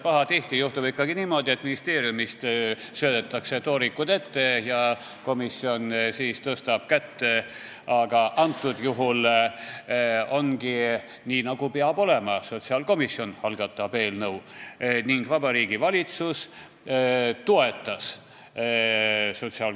Pahatihti juhtub ju niimoodi, et ministeeriumist söödetakse toorikud ette ja komisjon ainult tõstab kätt, aga praegusel juhul on nii, nagu peab olema: sotsiaalkomisjon algatas eelnõu ning Vabariigi Valitsus toetas seda.